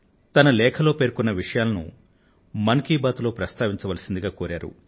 తన లేఖలో పేర్కొన్న విషయాలను ప్రస్తావించవలసిందిగా కోరారు